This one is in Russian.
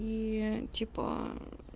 и типа